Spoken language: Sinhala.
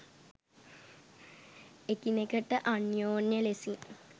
එකිනෙකට අන්‍යෝන්‍ය ලෙසින්